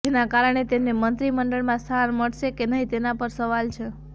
જેના કારણે તેમને મંત્રીમંડળમાં સ્થાન મળશે કે નહીં તેના પર સવાલ છે